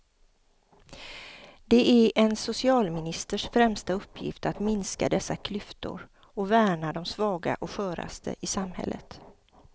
Det är en socialministers främsta uppgift att minska dessa klyftor och värna de svaga och sköraste i samhället.